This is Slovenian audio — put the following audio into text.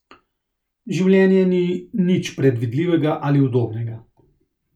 Življenje ni nič predvidljivega ali udobnega.